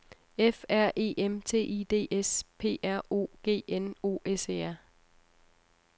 F R E M T I D S P R O G N O S E R